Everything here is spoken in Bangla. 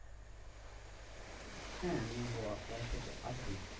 হ্যাঁ আমি হোয়া হোয়াটস্যাপে আছি।